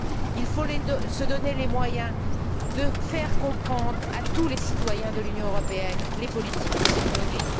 Il faut se donner les moyens de faire comprendre à tous les citoyens de l'Union européenne les politiques qui y sont menées.